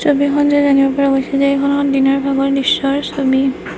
ছবিখন চাই জানিব পৰা গৈছে যে এইখন এখন দিনৰ ভাগৰ দৃশ্যৰ ছবি।